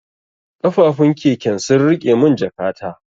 Kafufun keken sun rike mun jakata.